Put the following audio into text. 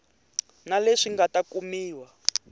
na leswi nga ta kumiwa